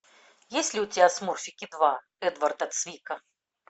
есть ли у тебя смурфики два эдварда цвика